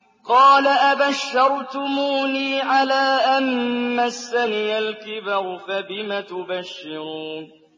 قَالَ أَبَشَّرْتُمُونِي عَلَىٰ أَن مَّسَّنِيَ الْكِبَرُ فَبِمَ تُبَشِّرُونَ